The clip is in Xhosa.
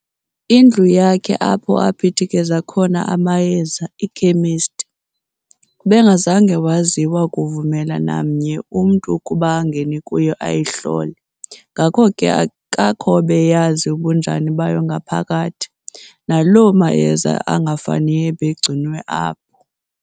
indlu yakhe apho aphithikeza khona amayeza, iKhemesti, ubengazanga waziwa kuvumela namnye umntu ukuba angene kuyo ayihlole, ngako ke akakho obeyazi ubunjani bayo ngaphakathi, naloo mayeza angafaniyo ebegcinwe apho.